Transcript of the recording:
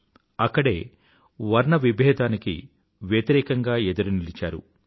అక్కడే వర్ణవిభేదానికి వ్యతిరేకంగా ఎదురునిలిచారు ఆయన